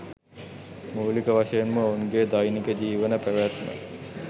මූලික වශයෙන්ම ඔවුන්ගේ දෛනික ජිවන පැවත්ම